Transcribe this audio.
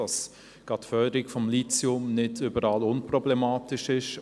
Gerade die Förderung des Lithiums ist nicht überall unproblematisch.